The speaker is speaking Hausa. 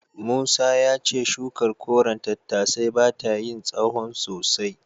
Musa ya ce shukar koren tattasai bata yin tsahon sosai.